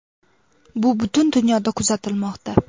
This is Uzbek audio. Bu butun dunyoda kuzatilmoqda.